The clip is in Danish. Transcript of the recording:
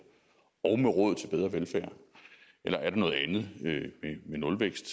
og med råd til bedre velfærd eller er det noget andet med nulvækst